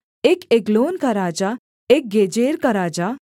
एक एग्लोन का राजा एक गेजेर का राजा